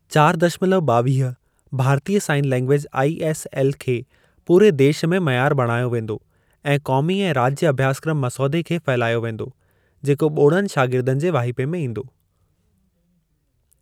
चार दशमलव ॿावीह भारतीय साइन लैंग्वेज आईएसएल खे पूरे देश में मयार बणायो वेंदो ऐं क़ौमी ऐं राज्य अभ्यासक्रम मसौदे खे फहिलायो वेंदो, जेको ॿोड़नि शागिर्दनि जे वाहिपे में ईंदो।